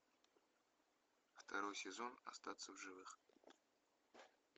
второй сезон остаться в живых